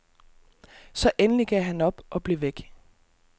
Så endelig gav han op og blev væk.